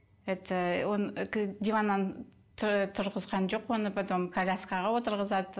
это диваннан тұрғызған жоқ оны потом коляскаға отырғызады